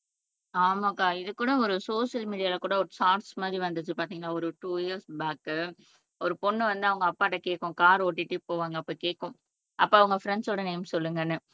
ஆமாக்கா இது கூட ஒரு சோசியல் மீடியால கூட ஒரு ஷார்ட்ஸ் மாதிரி வந்துச்சு பாத்திங்களா ஒரு டூ இயர்ஸ் பேக் ஒரு பொண்ணு வந்து அவங்க அப்பா கிட்ட கேட்கும் கார் ஓட்டிட்டு போவாங்க அப்போ கேக்கும் அப்பா உங்க ஃப்ரண்ட்ஸோட நேம் சொல்லுங்கன்னு